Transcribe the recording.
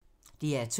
DR2